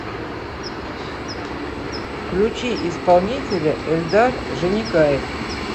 включи исполнителя эльдар жаникаев